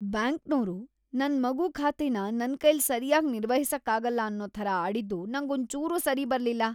ಬ್ಯಾಂಕ್ನೋರು ನನ್ ಮಗು ಖಾತೆನ ನನ್ಕೈಲ್ ಸರ್ಯಾಗ್ ನಿರ್ವಹಿಸಕ್ಕಾಗಲ್ಲ ಅನ್ನೋ ಥರ ಆಡಿದ್ದು ನಂಗೊಂಚೂರೂ ಸರಿಬರ್ಲಿಲ್ಲ.